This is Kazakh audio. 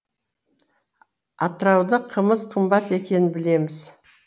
атырауда қымыз қымбат екенін білеміз